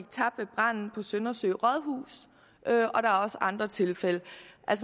tabt ved branden på søndersø rådhus og der er også andre tilfælde